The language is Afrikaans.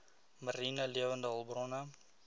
mariene lewende hulpbronne